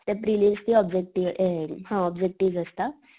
त्या प्रीलियम ची ऑब्जेक्टिव्ह हे हा ऑब्जेक्टिव्ह असता.